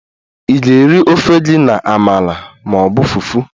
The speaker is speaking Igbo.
Ị ga-eri ofe gị na amala ma ọ bụ fufu?